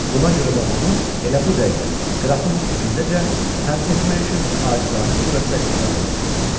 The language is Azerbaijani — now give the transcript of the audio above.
Buna görə də onu elə bu dəqiqə qrafın evindəcə həbs etmək üçün acizanə surətdə icazə istəyir.